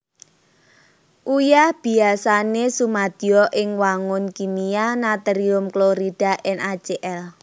Uyah biasané sumadya ing wangun kimia Natrium klorida NaCl